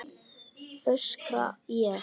öskra ég.